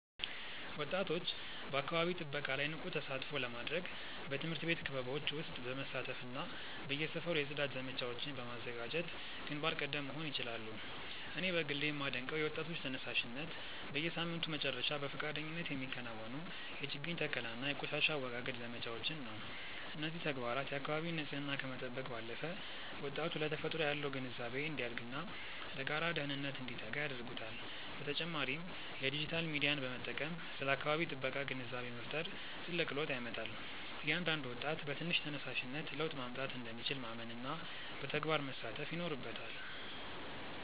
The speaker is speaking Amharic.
ወጣቶች በአካባቢ ጥበቃ ላይ ንቁ ተሳትፎ ለማድረግ በትምህርት ቤት ክበቦች ውስጥ በመሳተፍና በየሰፈሩ የጽዳት ዘመቻዎችን በማዘጋጀት ግንባር ቀደም መሆን ይችላሉ። እኔ በግሌ የማደንቀው የወጣቶች ተነሳሽነት፣ በየሳምንቱ መጨረሻ በፈቃደኝነት የሚከናወኑ የችግኝ ተከላና የቆሻሻ አወጋገድ ዘመቻዎችን ነው። እነዚህ ተግባራት የአካባቢን ንፅህና ከመጠበቅ ባለፈ፣ ወጣቱ ለተፈጥሮ ያለው ግንዛቤ እንዲያድግና ለጋራ ደህንነት እንዲተጋ ያደርጉታል። በተጨማሪም የዲጂታል ሚዲያን በመጠቀም ስለ አካባቢ ጥበቃ ግንዛቤ መፍጠር ትልቅ ለውጥ ያመጣል። እያንዳንዱ ወጣት በትንሽ ተነሳሽነት ለውጥ ማምጣት እንደሚችል ማመንና በተግባር መሳተፍ ይኖርበታል።